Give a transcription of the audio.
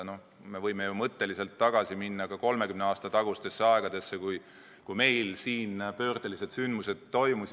No me võime mõtteliselt tagasi minna 30 aasta tagustesse aegadesse, kui meil siin pöördelised sündmused toimusid.